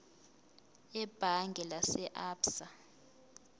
ebhange lase absa